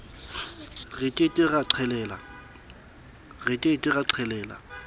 re ke ke ra qhelela